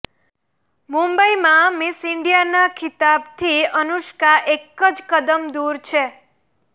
મંુબઇમાં miss ઇન્ડિયાના ખિતાબથી અનુષ્કા એક જ કદમ દુર છે